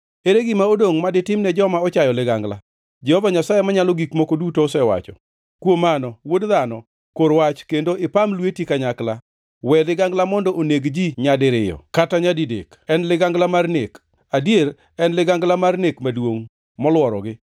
“Kuom mano, wuod dhano, kor wach kendo ipam lweti kanyakla. We ligangla mondo oneg ji nyadiriyo kata nyadidek. En ligangla mar nek, adier en ligangla mar nek maduongʼ, moluorogi.